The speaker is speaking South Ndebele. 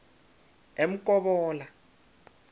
emkobola